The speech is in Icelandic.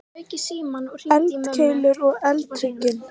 Eldkeilur og eldhryggir.